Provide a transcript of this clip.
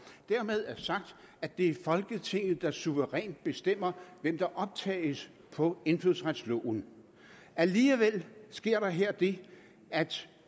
dermed er det sagt at det er folketinget der suverænt bestemmer hvem der optages på indfødsretsloven alligevel sker der her det at